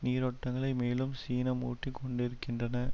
நீரோட்டங்களை மேலும் சினமூட்டிக் கொண்டிருக்கின்றன